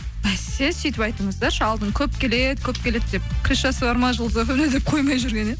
бәсе сөйтіп айтыңыздаршы алдында көп келеді көп келеді деп крышасы бар ма жұлдыз фм де деп қоймай жүрген еді